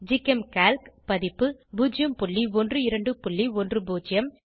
GChemCalc பதிப்பு 01210